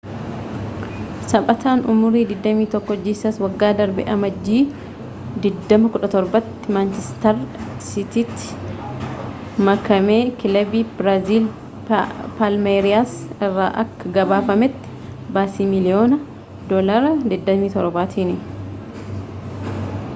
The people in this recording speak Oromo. taphataan umurii 21 jiisas waggaa darbe amajjii 2017 tti manchestar siitiitti makamekilabii biraaziil palmeriyaas irraa akka gabaafametti baasii miiliyoona £27tiin